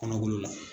Kɔnɔbolo la